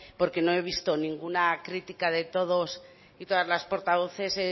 porque no he visto ninguna crítica de todos y todas las portavoces